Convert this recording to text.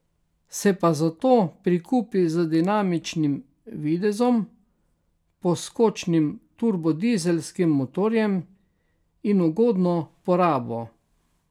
Se pa zato prikupi z dinamičnim videzom, poskočnim turbodizelskim motorjem in ugodno porabo.